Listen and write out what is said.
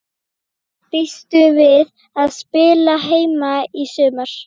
Býstu við að spila heima í sumar?